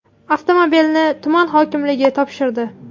Avtomobilni tuman hokimligi topshirdi.